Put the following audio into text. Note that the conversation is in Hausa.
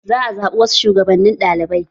Za a zaɓi wasu shugabannin ɗaliɓai